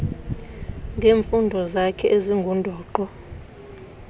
ngeemfuno zakhe ezingundoqo